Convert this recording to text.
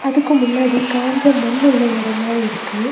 இதுக்கு முன்னாடி காஞ்ச மண்ணுல்ல எடமா இருக்கு.